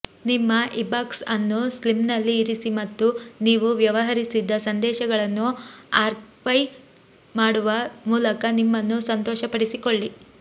ನಿಮ್ಮ ಇಬಾಕ್ಸ್ ಅನ್ನು ಸ್ಲಿಮ್ನಲ್ಲಿ ಇರಿಸಿ ಮತ್ತು ನೀವು ವ್ಯವಹರಿಸಿದ್ದ ಸಂದೇಶಗಳನ್ನು ಆರ್ಕೈವ್ ಮಾಡುವ ಮೂಲಕ ನಿಮ್ಮನ್ನು ಸಂತೋಷಪಡಿಸಿಕೊಳ್ಳಿ